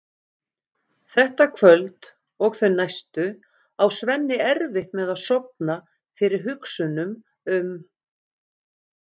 Þetta kvöld og þau næstu á Svenni erfitt með að sofna fyrir hugsunum um